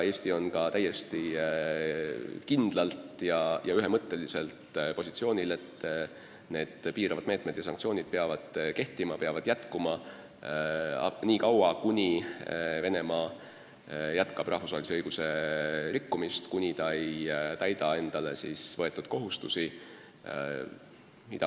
Eesti on täiesti kindlalt ja ühemõtteliselt positsioonil, et need piiravad meetmed ja sanktsioonid peavad jätkuma nii kaua, kuni Venemaa jätkab rahvusvahelise õiguse rikkumist, kuni ta ei täida endale võetud kohustusi.